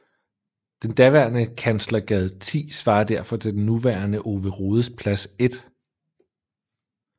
Den daværende Kanslergade 10 svarer derfor til den nuværende Ove Rodes Plads 1